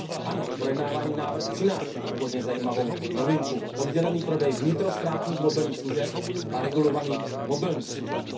Ano, projednávaný návrh přináší původně zajímavou novinku oddělený prodej vnitrostátních mobilních služeb a regulovaných mobilních služeb.